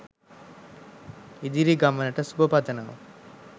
ඉදිරි ගමනට සුබ පතනවා